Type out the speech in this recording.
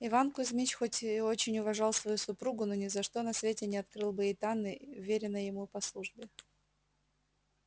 иван кузьмич хоть и очень уважал свою супругу но ни за что на свете не открыл бы ей тайны вверенной ему по службе